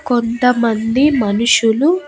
కొంతమంది మనుషులు